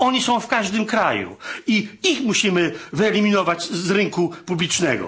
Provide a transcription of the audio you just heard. Oni są w każdym kraju i ich musimy wyeliminować z rynku publicznego.